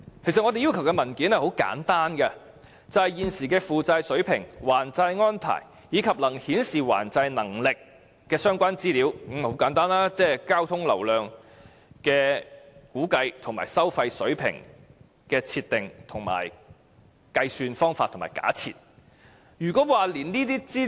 其實，我們要求的文件很簡單，也就是現時的負債水平、還債安排，以及能夠顯示還債能力的相關資料，亦即交通流量的估計和收費水平的計算及假設，就是這麼簡單。